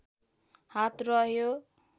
हात रह्यो